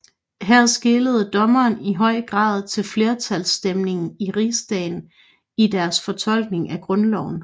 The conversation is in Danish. Her skelede dommerne i høj grad til flertalsstemningen i rigsdagen i deres fortolkning af Grundloven